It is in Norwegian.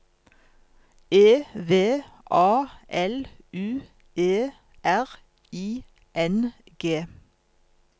E V A L U E R I N G